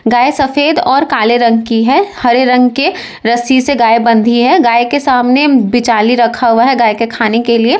गाय सफेद और काले रंग की है हरे रंग के रस्सी से बंधी है गाय के सामने बिचाली रखा हुआ है गाय के खाने के लिए।